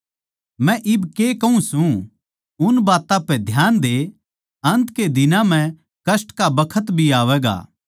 मै इब के कहूँ सूं उन बात्तां पै ध्यान दे अन्त के दिनां म्ह कष्ट का बखत भी आवैगा